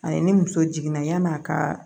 A ye ni muso jiginna yan'a kaa